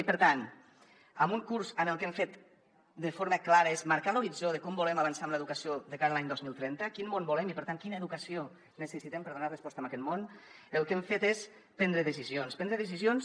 i per tant en un curs on el que hem fet de forma clara és marcar l’horitzó de com volem avançar en l’educació de cara a l’any dos mil trenta quin món volem i per tant quina educació necessitem per donar resposta a aquest món el que hem fet és prendre decisions prendre decisions